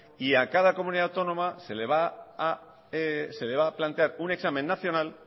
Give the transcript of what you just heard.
y a cada comunidad autónoma se le va a plantear un examen nacional